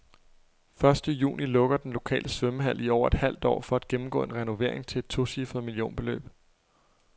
Første juni lukker den lokale svømmehal i over et halvt år for at gennemgå en renovering til et tocifret millionbeløb.